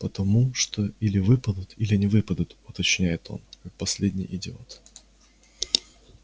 потому что или выпадут или не выпадут уточняет он как последний идиот